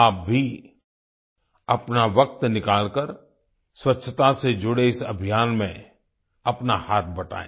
आप भी अपना वक्त निकालकर स्वच्छता के जुड़े इस अभियान में अपना हाथ बटाएं